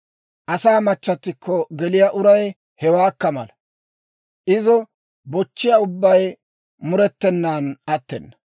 Asaa machchattikko geliyaa uray hewaakka mala; izo bochchiyaa ubbay murettenan attena.